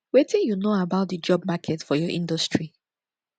wetin you know about di job market for your industry